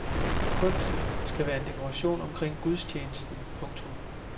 Kunsten skal være en dekoration omkring gudstjenesten. punktum